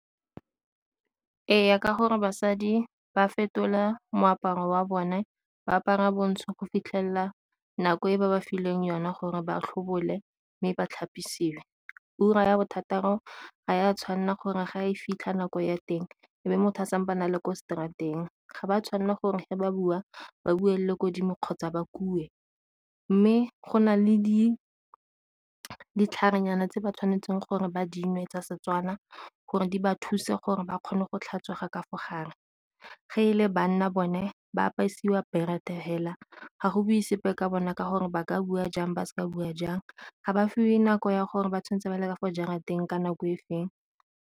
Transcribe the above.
Ee, ka gore basadi ba fetola moaparo wa bone ba apara bontsho go fitlhelela nako e ba ba fileng yona gore ba tlhobogile mme ba tlhapisiwe. Ura ya bothataro ga ya tshwanela gore ga e fitlha nako ya teng e be motho a a le ko straat-eng. Ga ba tshwanela gore fa ba bua ba bue le ko godimo kgotsa ba kue, mme go nale ditlhare nyana tse ba tshwanetseng gore ba dinwe tsa Setswana gore di ba thuse gore ba kgone go tlhatswega ka fo gare. Fa e le banna bone ba apisiwa berethe fela ga go bue sepe ka bona ka gore ba ka bua jang ba seka bua jang ga ba fiwe nako ya gore ba tshwanetse ba le ka fo jarateng ka nako e feng.